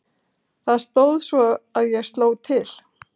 Það stóð svo ég sló til.